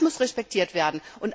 Das muss respektiert werden.